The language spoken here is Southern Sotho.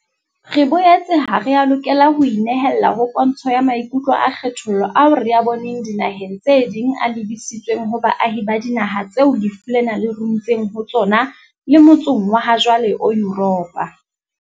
Re boetse ha re a lokela ho inehella ho pontsho ya maikutlo a kgethollo ao re a boneng dinaheng tse ding a lebisitsweng ho baahi ba dinaha tseo lefu lena le runtseng ho tsona le motsong wa hajwale o Yuropa.